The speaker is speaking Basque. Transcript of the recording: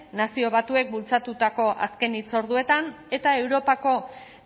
nazio batuek bultzatutako azken hitzorduetan eta europako